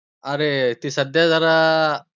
अरे ती सध्या जरा